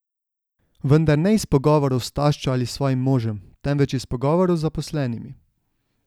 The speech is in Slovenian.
Vendar ne iz pogovorov s taščo ali svojim možem, temveč iz pogovorov z zaposlenimi.